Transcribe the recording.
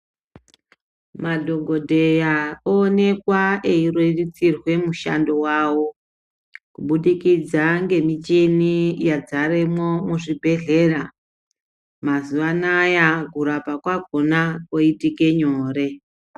Madhokodheya awonekwa eirerutsirwa mushando wavo kubudikidza nemuchini yadzaremwo muzvibhehlera. Mazuwanaya kurarama kwakona kwoitike nyore.